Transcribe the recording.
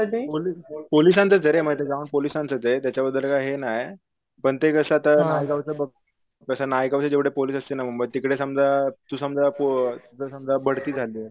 पोलिसांचरे पोलिसांचचे त्याच्याबद्दल काय हे नाय पण ते कस नायगावच बघ जस नायगाव चे जेव्हडे पोलीस असतील ना मुंबईत तिकडे समजा तू समजा पो जर समजा बढती झालीये.